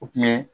O kun ye